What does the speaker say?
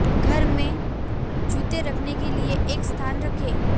घर में जूते रखने के लिए एक स्थान रखें